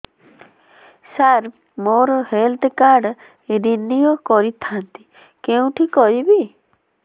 ସାର ମୋର health card renew କରିଥାନ୍ତି କେଉଁଠି କରିବି